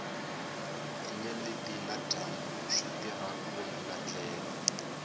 tinyeleti na dyambu switirha ku voninga ndlela